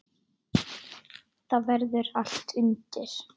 Þar verður allt undir.